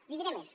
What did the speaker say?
li diré més